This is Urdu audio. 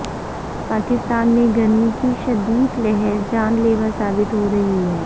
پاکستان میں گرمی کی شدید لہر جان لیوا ثابت ہو رہی ہے